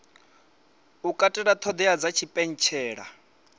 u katela ṱhoḓea dza tshipentshela